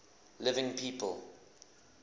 living people